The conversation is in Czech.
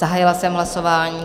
Zahájila jsem hlasování.